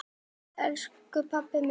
Elsku Palli minn.